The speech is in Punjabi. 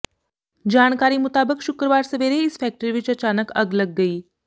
ਜਾਣਕਾਰੀ ਮੁਤਾਬਕ ਸ਼ੁੱਕਰਵਾਰ ਸਵੇਰੇ ਇਸ ਫੈਕਟਰੀ ਵਿਚ ਅਚਾਨਕ ਅੱਗ ਲੱਗ ਗਈ